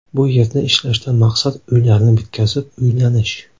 Bu yerda ishlashdan maqsad uylarni bitkazib, uylanish.